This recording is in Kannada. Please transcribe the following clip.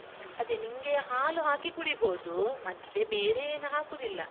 ಅದೆ, ನಿನ್ಗೆ ಹಾಲು ಹಾಕಿ ಕುಡಿಬೋದು ಮತ್ತೆ ಬೇರೆ ಏನೂ ಹಾಕುದಿಲ್ಲ.